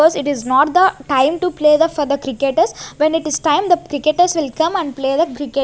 it is not the time to play the for the cricketers when it is time the cricketers will come and play the --